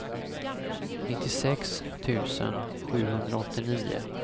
nittiosex tusen sjuhundraåttionio